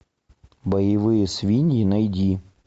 боевые свиньи найди